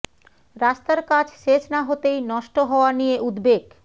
রাস্তার কাজ শেষ না হতেই নষ্ট হওয়া নিয়ে উদ্বেগ